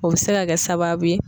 O bɛ se ka kɛ sababu ye